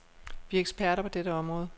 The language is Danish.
Vi er eksperter på dette område.